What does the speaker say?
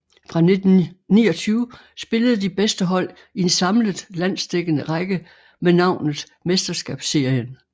Fra 1929 spillede de bedste hold i en samlet landsdækkende række med navnet Mesterskabsserien